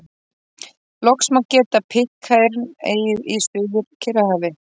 Loks má geta Pitcairn-eyju í Suður-Kyrrahafi.